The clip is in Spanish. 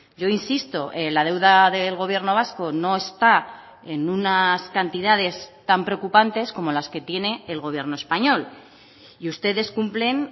yo insisto la deuda del gobierno vasco no está en unas cantidades tan preocupantes como las que tiene el gobierno español y ustedes cumplen